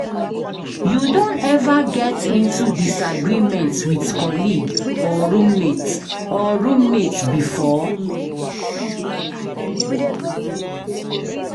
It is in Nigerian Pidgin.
You don ever get into disagreement with colleague or roommate or roommate before?